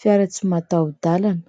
fiara tsy mataho-dalana.